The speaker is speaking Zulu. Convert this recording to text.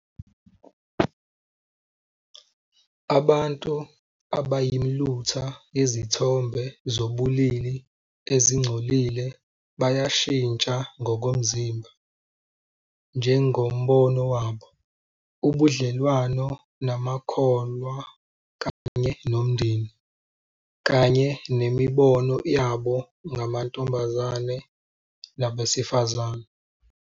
Abantu abayimilutha yezithombe zobulili ezingcolile bayashintsha ngokomzimba, njengombono wabo, ubudlelwano namakholwa kanye nomndeni, kanye nemibono yabo ngamantombazane nabesifazane.